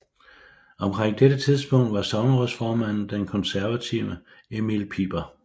Omkring dette tidspunkt var sognerådsformanden den konservative Emil Piper